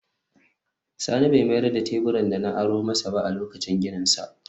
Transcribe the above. Sani bai mayar da tabukan da na aro masa ba a lokacin gininsa